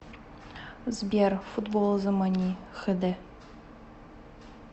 сбер футбол замани хэ дэ